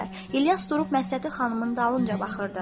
İlyas durub Məşədi xanımın dalınca baxırdı.